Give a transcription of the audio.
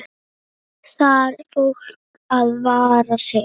Þarf fólk að vara sig?